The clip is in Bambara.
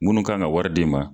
Munnu k'an ka ka wari di ma